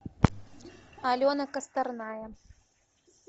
алена косторная